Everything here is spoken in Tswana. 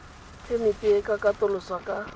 phemiti e ka katoloswa ka